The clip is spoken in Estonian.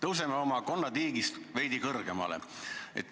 Tõuseme oma konnatiigist veidi kõrgemale.